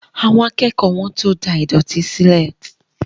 Àwọn akẹ́kọ̀ọ́ wọ́n tó da ìdọ̀tí sílẹ̀